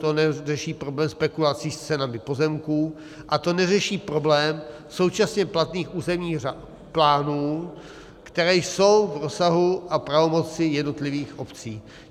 To neřeší problém spekulací s cenami pozemků a to neřeší problém současně platných územních plánů, které jsou v rozsahu a pravomoci jednotlivých obcí.